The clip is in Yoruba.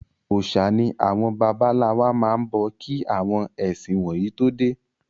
Òòsà ni àwọn bàbá ńlá wa ń bọ kí àwọn ẹ̀sìn wọ̀nyí tó dé.